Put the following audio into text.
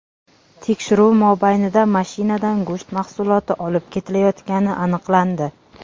Tekshiruv mobaynida mashinada go‘sht mahsuloti olib ketilayotgani aniqlandi.